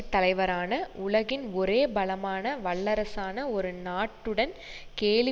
தலைவரான உலகின் ஒரே பலமான வல்லரசான ஒரு நாட்டுடன் கேலி